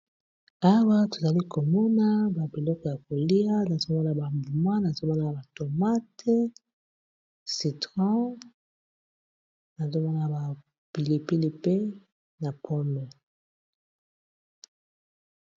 Awa tozali komona babiloko ya kolia na soma na bambuma na somoa na batomate citron na s na bapilipili pe na pome